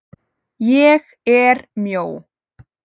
ÉG ER MJÓ.